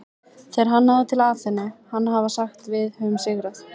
Þegar hann náði til Aþenu á hann að hafa sagt Við höfum sigrað!